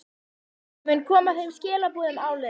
Ég mun koma þeim skilaboðum áleiðis.